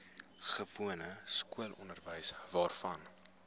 gewone skoolonderwys waarvan